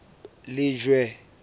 lejwe